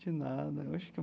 De nada eu acho que.